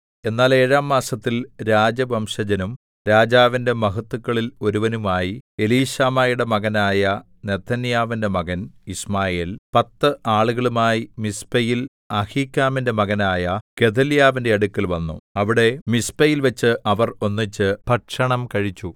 എന്നാൽ ഏഴാം മാസത്തിൽ രാജവംശജനും രാജാവിന്റെ മഹത്തുക്കളിൽ ഒരുവനുമായി എലീശാമയുടെ മകനായ നെഥന്യാവിന്റെ മകൻ യിശ്മായേൽ പത്ത് ആളുകളുമായി മിസ്പയിൽ അഹീക്കാമിന്റെ മകനായ ഗെദല്യാവിന്റെ അടുക്കൽ വന്നു അവിടെ മിസ്പയിൽവച്ച് അവർ ഒന്നിച്ച് ഭക്ഷണം കഴിച്ചു